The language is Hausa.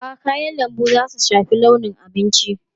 A'a, kayan lambu za su shafi launin abincin.